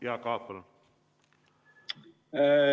Jaak Aab, palun!